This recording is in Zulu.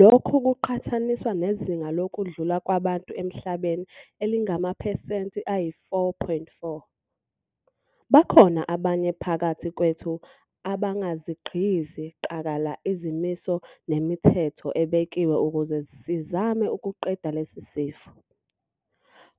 Lokhu kuqhathaniswa nezinga lokudlula kwabantu emhlabeni elingamaphesenti ayi-4.4. Bakhona abanye phakathi kwethu abangazigqizi qakala izimiso nemithetho ebekiwe ukuze sizame ukuqeda lesi sifo.